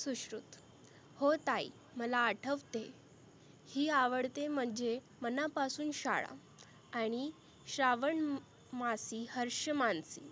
सुश्रुत हो ताई मला आठवते ही आवडते मजे मना पासुन शाळा आणि श्रावण मासी हर्ष मानसी